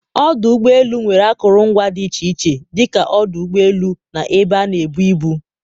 ọdụ ụgbọ elu nwere akụrụngwa dị iche iche dịka ọdụ ụgbọ elu, na ebe a na-ebu ibu.